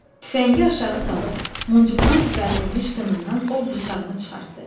Tüfəngi aşağı salıb, muncuqdan düzəldilmiş qınından ov bıçağını çıxartdı.